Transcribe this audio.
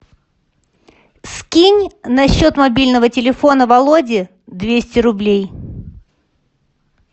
скинь на счет мобильного телефона володи двести рублей